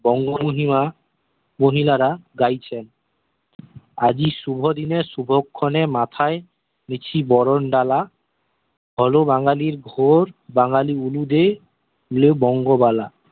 বঙ্গভূমি মা মহিলারা গাইছেন আজই শুভ দিনে শুভক্ষণে মাথায় দিছি বরণডালা হল বাঙ্গালির ঘোর বাঙ্গালি উলু দে দিলো বঙ্গ বালা